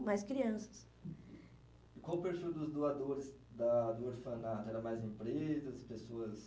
mais crianças. Qual o perfil dos doadores da do orfanato? Era mais empresas? Pessoas